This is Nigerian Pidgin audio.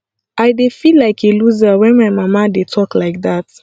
i dey feel like a loser wen my mama dey talk like dat